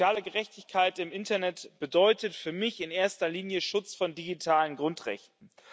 Soziale Gerechtigkeit im Internet bedeutet für mich in erster Linie Schutz von digitalen Grundrechten.